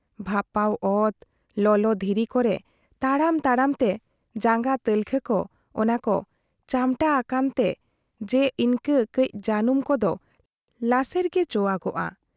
ᱵᱷᱟᱯᱟᱣ ᱚᱛ, ᱞᱚᱞᱚ ᱫᱷᱤᱨᱤ ᱠᱚᱨᱮ ᱛᱟᱲᱟᱢ ᱛᱟᱲᱟᱢ ᱛᱮ ᱡᱟᱝᱜᱟ ᱛᱟᱞᱠᱷᱟ ᱠᱚ ᱚᱱᱟ ᱠᱚ ᱪᱟᱢᱴᱟ ᱟᱠᱟᱱᱛᱮ ᱡᱮ ᱤᱱᱠᱟᱹ ᱠᱟᱹᱡ ᱡᱟᱹᱱᱩᱢ ᱠᱚᱫᱚ ᱞᱟᱥᱮᱨ ᱜᱮ ᱪᱚᱣᱟᱜᱚᱜᱼᱟ ᱾